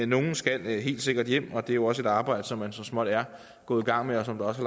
nogle skal helt sikkert hjem og det er også et arbejde som man så småt er gået i gang med og som der også